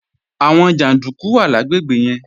Àwọn jàndúkú wà lágbègbè yẹn